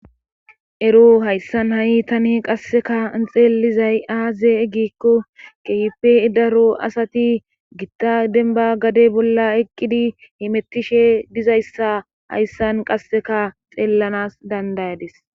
ero hayssan ha7i tani qasseka i xeelizay aaze gikko kehippe idaro asati gitta denba gade bolla eqqidi himettishe dizayssa hayssan qasseka xeellanas dandayadis